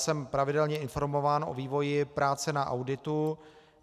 Jsem pravidelně informován o vývoji práce na auditu.